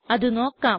അത് നോക്കാം